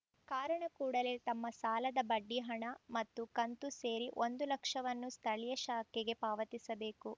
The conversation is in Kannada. ಕಾರಣ ಕೂಡಲೇ ತಮ್ಮ ಸಾಲದ ಬಡ್ಡಿ ಹಣ ಮತ್ತು ಕಂತು ಸೇರಿ ಒಂದು ಲಕ್ಷವನ್ನು ಸ್ಥಳೀಯ ಶಾಖೆಗೆ ಪಾವತಿಸಬೇಕು